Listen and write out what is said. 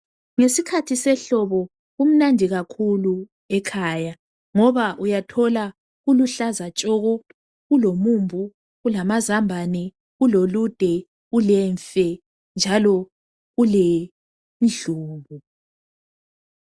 Ngesikhathi sehlobo kumnandi kakhulu ekhaya ngoba uyathola kuluhlaza tshoko. Kulomumbu kulamazambane, kulolude kulemfe njalo kulendlubu.